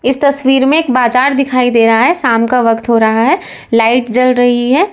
इस तस्वीर में एक बाजार दिखाई दे रहा है शाम का वक्त हो रहा है लाइट जल रही है।